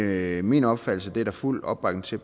det er min opfattelse at det er der fuld opbakning til